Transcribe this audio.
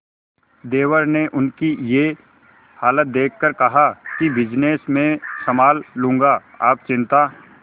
देवर ने उनकी ये हालत देखकर कहा कि बिजनेस मैं संभाल लूंगा आप चिंता